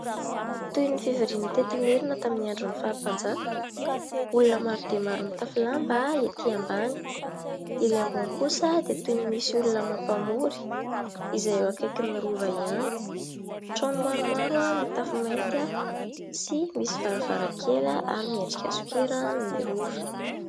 Toy ny fivoriana teto Imerina tamin'ny andron'ny fahampanjaka, olona maro dia maro mitafy lamba ety ambany ; ery ambony kosa dia toy ny misy olona mampamory, izay eo akaikin'ny Rova ihany. Trano maromaro mitafo mainty, misy varavarankely, ary miendrika sokera ny Rova.